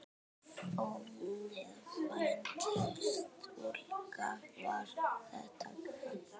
Ónefnd stúlka: Var þetta kalt?